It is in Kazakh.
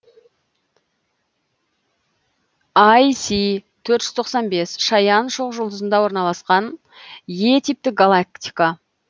іс төрт жүз тоқсан бес шаян шоқжұлдызында орналасқан е типті галактика